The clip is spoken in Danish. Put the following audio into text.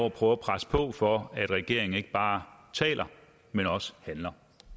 at prøve at presse på for at regeringen ikke bare taler men også handler